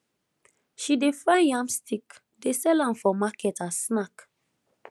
she dey fry yam stick dey sell am for market as snack